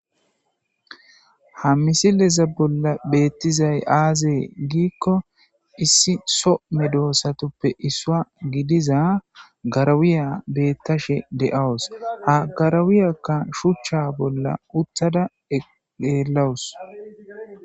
ha misileza bolla beettizay aazee giikko issi some doossatoppe issua gidiza garawiya bettashe de7awus ha garawiyakka shuchcha bolla uttada eqeelawus